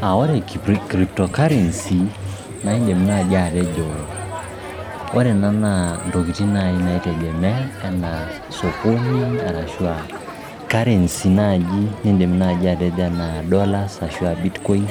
Ore crypto currency naa iindim naaji atejo ore ena naa intokiting naai naitegemea ena sokoni arashu aa currency naaji nindim atejo enaa dollars ashu bitcoin.